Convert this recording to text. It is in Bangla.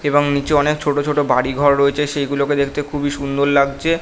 এবং নিচে অনেক ছোট্ট ছোট্ট বাড়ি ঘর রয়েছে সেগুলো দেখতে খুব সুন্দর লাগছে।